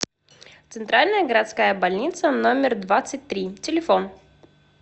центральная городская больница номер двадцать три телефон